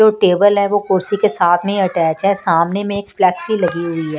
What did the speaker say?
जो टेबल है वो कुर्सी के साथ में ही अटैच है सामने में एक फ्लैग सी लगी हुई--